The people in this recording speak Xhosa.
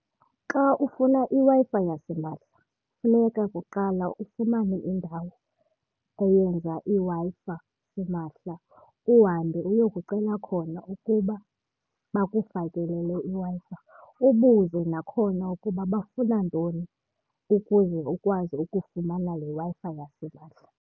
Xa ufuna iWi-Fi yasimahla funeka kuqala ufumane indawo eyenza iWi-Fi simahla uhambe uyokucela khona ukuba bakufakelele iWi-Fi. Ubuze nakhona ukuba bafuna ntoni ukuze ukwazi ukufumana le Wi-Fi yasimahla.